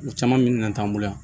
U caman min na t'an bolo yan